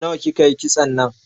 Nawa ki ka yi kitson nan?